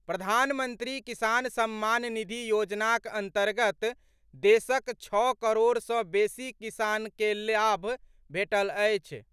प्रधानमंत्री किसान सम्मान निधि योजनाक अन्तर्गत देशक छओ करोड़ सॅ बेसी किसान के लाभ भेटल अछि।